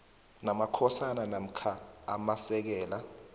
namakhosana namkha amasekela